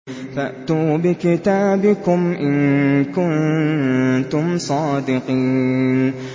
فَأْتُوا بِكِتَابِكُمْ إِن كُنتُمْ صَادِقِينَ